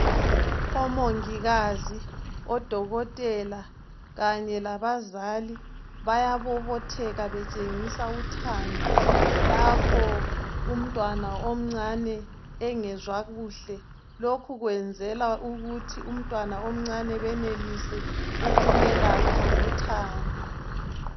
Omongikazi odokotela kanye labazali bayabobotheka betshengisa uthando lapho umntwana omncane engezwa kuhle lokhu kwenzela ukuthi umntwana omncane benelise ukumelapha ngothando.